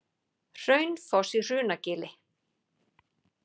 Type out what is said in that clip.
Hraunfoss í Hrunagili.